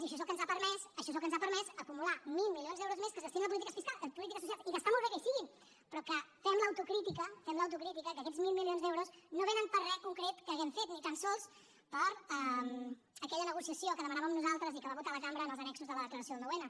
i això és el que ens ha permès això és el que ens ha permès acumular mil milions d’euros més que es destinen a polítiques socials i que està molt bé que hi siguin però que fem l’autocrítica fem l’autocrítica que aquests mil milions d’euros no vénen per re concret que hàgim fet ni tan sols per aquella negociació que demanàvem nosaltres i que va votar la cambra en els annexos de la declaració del nou n